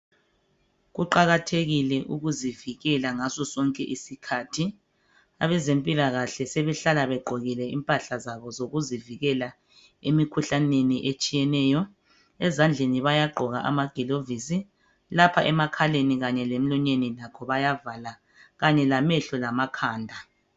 Kuqakathekile ukuzivikela ngaso sonke isikhathi, abezempilakahle sebehlala begqokile impahla zabo zokuzivikela emikhuhlaneni etshiyeneyo, ezandleni bayagqoka amagilovisi, lapha emakhaleni lasemlonyeni lakho bayavala, kanye lamehlo lamakhanda.